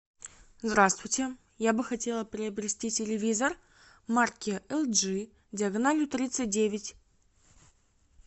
здравствуйте я бы хотела приобрести телевизор марки лджи диагональю тридцать девять